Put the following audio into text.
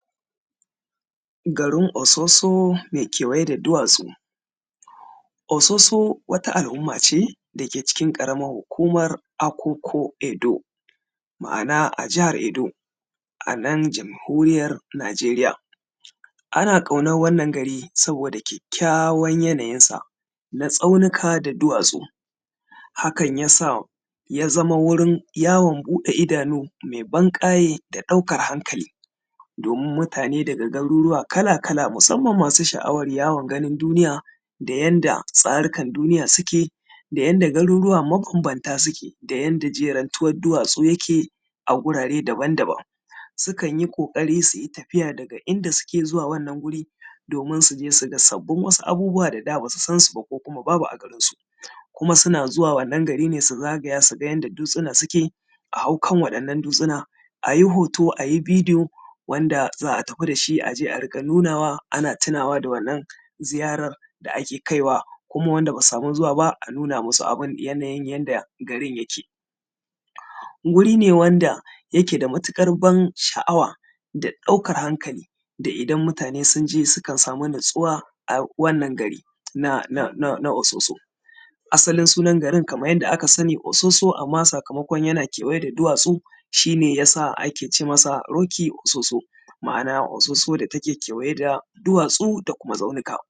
garin ososo mai kewaye da duwatsu ososo wata al’umma ce da ke ƙaramar hukumar akuku da ke Edo ma’ana a jihar edo anan jamhuriyyar nijeriya ana ƙaunar wannan gari sabida kyakkyawan yanayin sa na tsaunuka da duwatsu hakan yasa ya zama wajen buɗe idanu mai ban ƙaye da ɗaukan hankali domin mutane daga garuruwa kala-kala musamman masu sha’awar yawon ganin duniya da yanda tsarukan duniya suke da yanda garuruwa mabanbanta suke da yanda jerentuwan duwatsu yake a wurare daban-daban sukan yi ƙoƙari suyi tafiya daga inda suke zuwa wannan guri domin suje su ga sabbin wasu abubuwa da da basu san su ba ko kuma babu a garin su kuma suna zuwa wannan gari ne su zagaya su ga yanda dutsuna suke a hau kan wannan dutsuna ayi hoto ayi videon wanda za a tafi dashi aje a riƙa nunawa ana tunawa da wannan ziyarar da ake kaiwa kuma wanda basu samu zuwa ba a nuna musu abun yanayin yanda garin yake guri ne wanda yake da matuƙar ban sha’awa da ɗaukar hankali da idan mutane sukan samu natsuwa a wannan gari na ososo asalin sunan garin kaman yanda aka sani ososo sakamakon yana kewaye da duwatsu shi ne yasa ake ce masa rocky ososo ma’ana ososo da ta ke kewaye da duwatsu da kuma tsaunuka